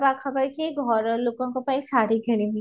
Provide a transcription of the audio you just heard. ନା ପାଖା ପାଖି ଘର ଲୋକଙ୍କ ପାଇଁ ଶାଢ଼ି କିଣିବି